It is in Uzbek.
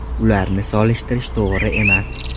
Ularni solishtirish to‘g‘ri emas.